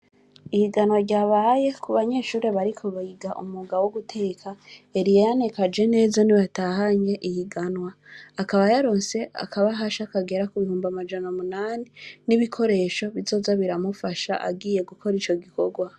Ihiganwa ryabaye, kubanyeshure bariko biga umwuga woguteka, Eliyane kaje neza niwewe yatahukanye ihiganwa, akaba yarose akabasha kagera kubihumbi amajana munani, nibikoresho bizoza biramufasha agiye gukoresha ivyo bikorwa.